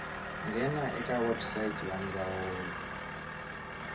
nghena eka website ya ndzawulo